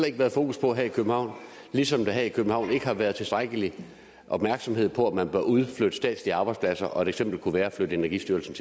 ikke være fokus på her i københavn ligesom der her i københavn heller ikke har været tilstrækkelig opmærksomhed på at man bør udflytte statslige arbejdspladser et eksempel kunne være at flytte energistyrelsen